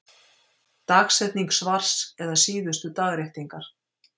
Dagsetning svars eða síðustu dagréttingar.